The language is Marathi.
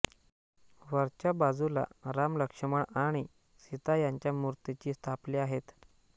वरच्याबाजूला राम लक्ष्मण आणि सीता यांच्या मूर्तीची स्थापल्या आहेत